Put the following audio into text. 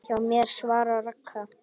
Hjá mér? svaraði Ragna.